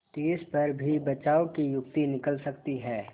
तिस पर भी बचाव की युक्ति निकल सकती है